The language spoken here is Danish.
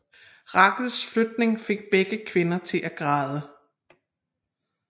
Rachels flytning fik begge kvinder til at græde